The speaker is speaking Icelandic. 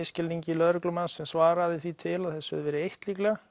misskilningi lögreglumanns sem svaraði því til að þessu hefði verið eytt líklega